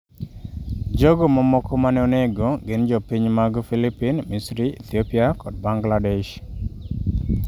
Jogo mamoko mane onego gin jopiny mag Filipin, Misri, Ethiopia kod Bangladesh.